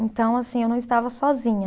Então, assim, eu não estava sozinha.